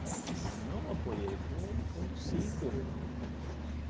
Né não apoiei, eu fui um fui um dos cinco.